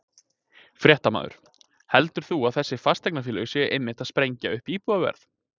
Fréttamaður: Heldur þú að þessi fasteignafélög séu einmitt að sprengja upp íbúðaverð?